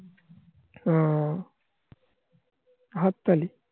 ও. হাত তালি.